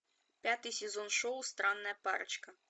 пятый сезон шоу странная парочка